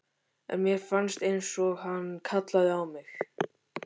En mér fannst einsog hann kallaði á mig.